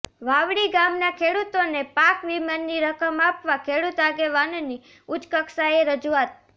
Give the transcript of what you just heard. વાવડી ગામના ખેડુતોને પાક વિમાની રકમ આપવા ખેડુત આગેવાનની ઉચ્ચકક્ષાએ રજુઆત